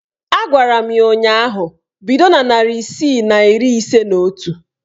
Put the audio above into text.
A gwara m ya ụnyaahụ "Bido na narị isii na iri ise na otu!